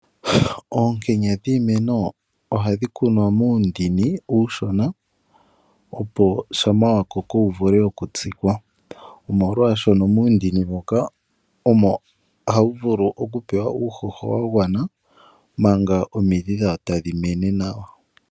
Oombuto dhiimeno ohadhi kunwa muundini uushona opo shampa wa koko wu vule oku tsikwa, molwaashoka muundini moka omo hawu vulu oku pewa uuhoho wa gwana manga omidhi dhawo tadhi mene nawa.